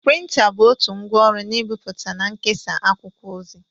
Printa bụ otu ngwa ọrụ n' ibipụta na nkesa akwụkwọ ozi.